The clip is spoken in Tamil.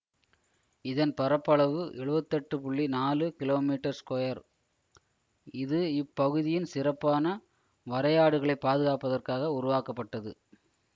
இதன் பரப்பளவு எழுவத்தி எட்டு புள்ளி நாலு கிலோ மீட்டர் ஸ்கொயர் இது இப்பகுதியின் சிறப்பான வரையாடுகளைப் பாதுகாப்பதற்காக உருவாக்கப்பட்டது